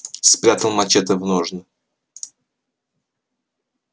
спрятал мачете в ножны